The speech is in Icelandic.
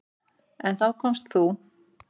En þá komst þú.